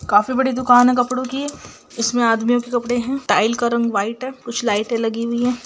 काफी बड़ी दुकान है कपड़ों की इसमें आदमियों के कपड़े है टाइल का रंग व्हाइट है कुछ लाइटें लगी हुई है।